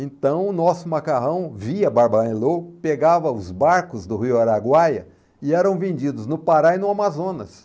Então, o nosso macarrão via Barbarã e Louco pegava os barcos do Rio Araguaia e eram vendidos no Pará e no Amazonas.